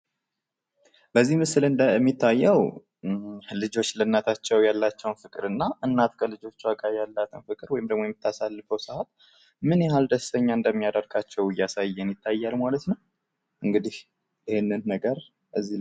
በዚህ ምስል እንደሚታየው ልጆች ለእናቶቻቸው ያላቸውን ፍቅር እናት ከልጆች ጋር ያላትን ፍቅር ወይንም ደግሞ የምታሳልፈው ሰዓት ምን ያህል ደስተኛ እንደሚያደርጋቸው እያሳየን ይታያል ማለት ነው። እንግዲህ ይህንን ነገር በዚህ